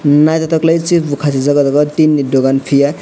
naitotok lei chip bo kasijak o jaga o tin ni dogan kiye.